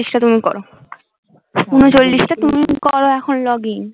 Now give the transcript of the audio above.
ঊনচল্লিশটা তুমি করো ঊনচল্লিশটা তুমি কর এখন login